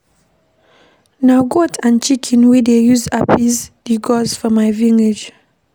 Na goat and chicken we dey use appease di gods for my village.